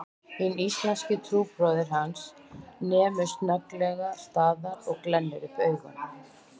Hinn íslenski trúbróðir hans nemur snögglega staðar og glennir upp augun